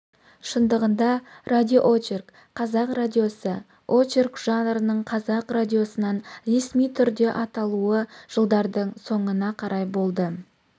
шындығында радиоочерк қазақ радиосы очерк жанрының қазақ радиосынан ресми түрде аталуы жылдардың соңына карай болды